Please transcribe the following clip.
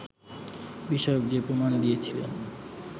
বিষয়ক যে প্রমাণ দিয়েছিলেন